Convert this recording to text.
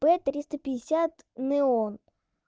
п триста пятьдесят неон